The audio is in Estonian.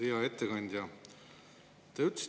Hea ettekandja!